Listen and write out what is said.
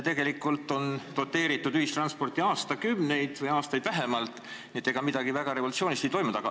Tegelikult on ühistransporti aastakümneid või vähemalt aastaid doteeritud, nii et ega midagi väga revolutsioonilist ei ole toimunud.